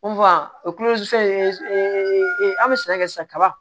o an bɛ sɛnɛ kɛ sisan ka